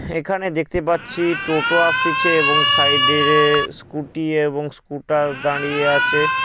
এখানে দেখতে পাচ্ছি টোটো আসতেছে এবং সাইডে-- স্কুটি এবং স্কুটার দাঁড়িয়ে আছে।